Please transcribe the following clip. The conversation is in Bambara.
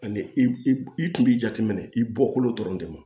Ani i kun b'i jateminɛ i bɔkolo dɔrɔn de ma